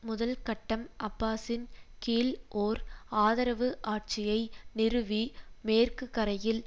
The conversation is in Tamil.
முதல் கட்டம் அப்பாசின் கீழ் ஓர் ஆதரவு ஆட்சியை நிறுவி மேற்குக்கரையில்